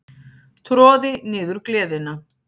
Troði niður gleðina.